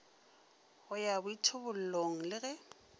go ya boithobollong le ge